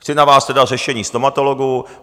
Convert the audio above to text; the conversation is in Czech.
Chci na vás teda řešení stomatologů.